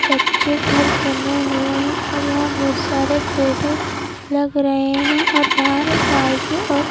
कच्चे घर बने हुए हैं और यहां बहुत सारे पेड़े लग रहे हैं और बाहर बाइक और--